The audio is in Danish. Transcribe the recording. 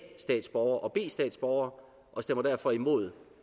statsborgere og b statsborgere og stemmer derfor imod